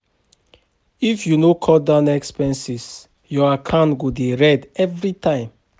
If you no cut down expenses, your account go dey red every time.